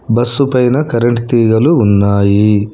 bus పైన current తీగలు ఉన్నాయి